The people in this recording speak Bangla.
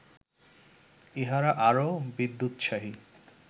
ইহারা আরও বিদ্যোৎসাহী